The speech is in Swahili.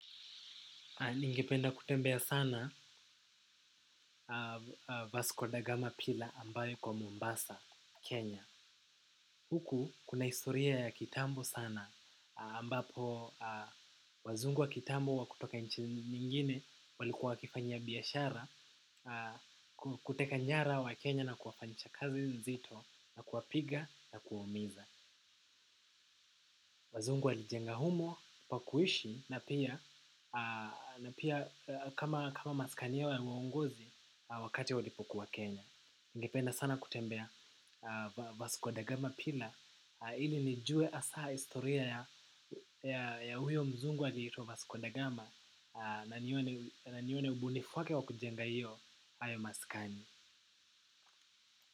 Ningependa kutembea sana Vasco Dagama Pila ambayo kwa Mombasa, Kenya. Huku kuna historia ya kitambo sana. Ambapo wazungu wa kitambo wa kutoka nchini nyingine walikuwa wakifanyia biashara. Kuteka nyara waKenya na kuwafanchakazi nzito na kuwapiga na kuwaumiza. Wazungu walijenga humo, pa kuishi na pia kama masikani yao ya uongozi wakati walipokuwa Kenya. Ningependa sana kutembea Vasco Dagama pilla ili nijue asa historia ya huyo mzungu aliyeitwa Vasco Dagama na nione ubunifu wake wa kujenga iyo hayo masikani.